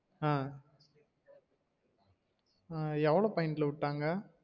ஆஹ் எவ்ளோ point ல விட்டாங்க